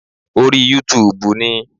Orí Yútúuùbù ni.